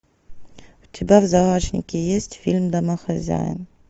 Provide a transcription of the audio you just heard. у тебя в загашнике есть фильм домохозяин